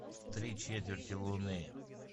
три четверти луны